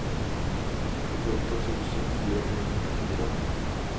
sjuttioåtta tusen fyrahundranittiofyra